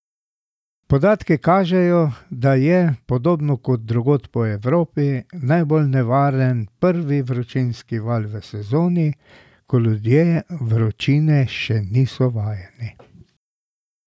Podatki kažejo, da je, podobno kot drugod po Evropi, najbolj nevaren prvi vročinski val v sezoni, ko ljudje vročine še niso vajeni.